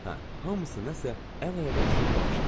Hə, hamısı nəsə əl-ayağa düşüb baxışdılar.